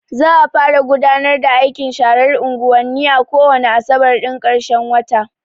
Za a fara gudanar da aikin sharar anguwanni ko wane asabar ɗin ƙarshen wata.